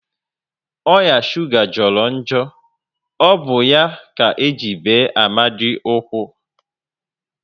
Oya shuga jọrọ njọ, ọ bụ ya ka eji bee Amadi ụkwụ